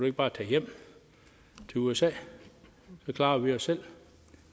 ikke bare tage hjem til usa så klarer vi os selv